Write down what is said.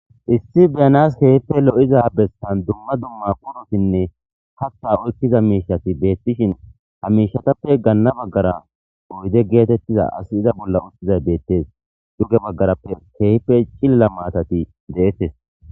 Issi bena keehipe lo7iza bessa dumma dumma qorothinne kaththaa oykkida beththishen ha miishshathape ganna baggara oyde geetheththida asiiza bolla beeththees; duge bagara keehippe cilila maathathi deethes.